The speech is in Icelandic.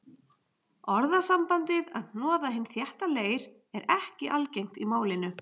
Orðasambandið að hnoða hinn þétta leir er ekki algengt í málinu.